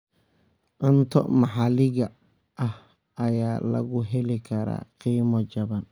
Cunto maxaliga ah ayaa lagu heli karaa qiimo jaban.